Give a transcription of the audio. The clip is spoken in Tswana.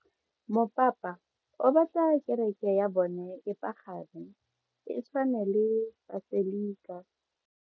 Mopapa o batla kereke ya bone e pagame, e tshwane le paselika.